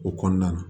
O kɔnɔna na